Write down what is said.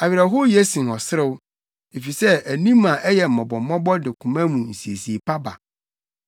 Awerɛhow ye sen ɔserew, efisɛ anim a ayɛ mmɔbɔmmɔbɔ de koma mu nsiesie pa ba.